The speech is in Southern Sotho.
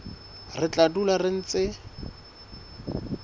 re tla dula re ntse